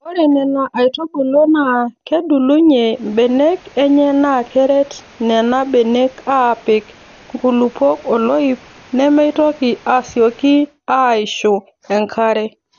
Ore Nena aitubulu naa kedulunye mbenek enye naa keret Nena benek aapik nkulupuok oloip nemeitoki asioki aaishu enkare.